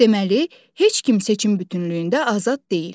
Deməli, heç kim seçim bütünlüyündə azad deyil.